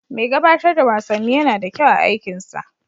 Mai gabatar da wasanni yana da kyau a aikinsa.